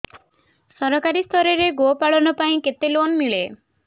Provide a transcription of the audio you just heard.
ସରକାରୀ ସ୍ତରରେ ଗୋ ପାଳନ ପାଇଁ କେତେ ଲୋନ୍ ମିଳେ